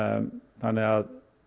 þannig að